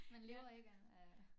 Man lever ikke af af